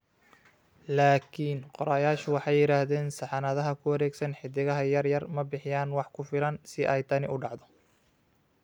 Laakiin qorayaashu waxay yiraahdeen saxanadaha ku wareegsan xiddigaha yar yar ma bixiyaan wax ku filan si ay tani u dhacdo.